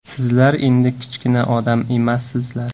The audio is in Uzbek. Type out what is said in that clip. Sizlar endi kichkina odam emassizlar.